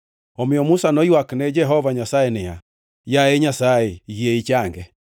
Omiyo Musa noywak ne Jehova Nyasaye niya, “Yaye Nyasaye, yie ichange!”